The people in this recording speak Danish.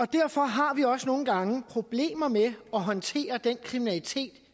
derfor har vi også nogle gange problemer med at håndtere den kriminalitet